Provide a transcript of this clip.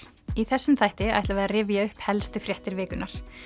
í þessum þætti ætlum við að rifja upp helstu fréttir vikunnar